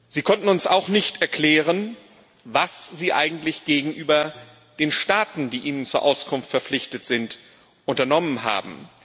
Sie konnten uns auch nicht erklären, was Sie eigentlich gegenüber den Staaten, die Ihnen zur Auskunft verpflichtet sind, unternommen haben.